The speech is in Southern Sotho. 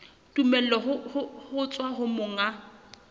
tumello ho tswa ho monga